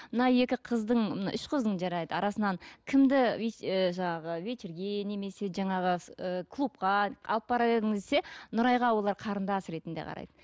мына екі қыздың мына үш қыздың жарайды арасынан кімді ы жаңағы вечерге немесе жаңағы ы клубқа алып барар едің десе нұрайға олар қарындас ретінде қарайды